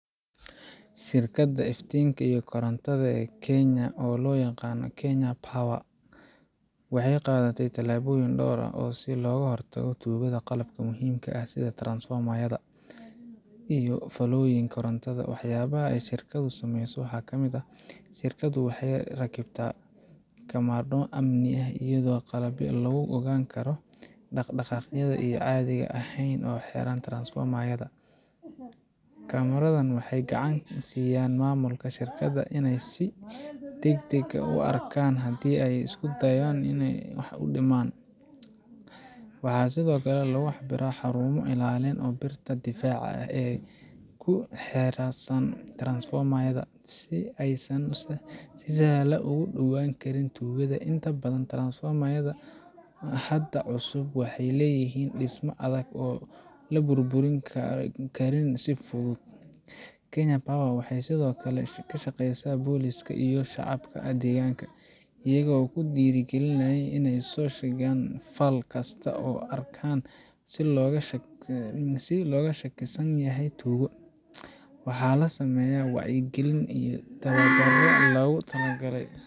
Shirkadda iftiinka iyo korontada ee Kenya, oo loo yaqaano Kenya Power, waxay qaadday tallaabooyin dhowr ah si ay uga hortagto tuugada qalabka muhiimka ah sida transformer-yada iyo fiilooyinka korontada. Waxyaabaha ay shirkaddu sameyso waxaa ka mid ah: Shirkaddu waxay rakibtaa kamarado amni iyo qalabyo lagu ogaan karo dhaqdhaqaaqyada aan caadiga ahayn oo ku xeeran transformer-yada. Kamaradahan waxay gacan ka siiyaan maamulka shirkadda inay si degdeg ah u arkaan haddii la isku dayo wax u dhimista qalabka. Waxaa sidoo kale lagu rakibaa xarumo ilaalin leh iyo birta difaaca ee ku hareeraysan transformer-yada, si aysan si sahlan ugu dhowaaan karin tuugada. Inta badan transformer-yada hadda cusub waxay leeyihiin dhismo adag oo la burburin karin si fudud. Kenya Power, waxay sidoo kale la shaqeysaa booliiska iyo shacabka deegaanka, iyagoo ku dhiirrigeliya inay soo sheegaan fal kasta oo ay arkaan oo looga shakisan yahay tuugo. Waxaa la sameeyaa wacyigelin iyo tababarro loogu talagalay